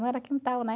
Não era quintal, né?